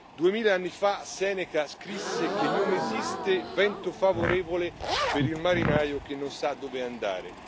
Duemila anni fa, Seneca scrisse che non esiste vento favorevole per il marinaio che non sa dove andare.